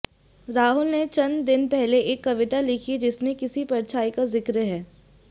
राहुल ने चंद दिन पहले एक कविता लिखी जिसमे किसी परछाई का जिक्र है